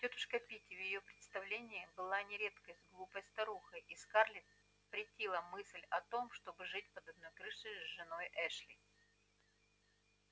тётушка питти в её представлении была на редкость глупой старухой и скарлетт претила мысль о том чтобы жить под одной крышей с женой эшли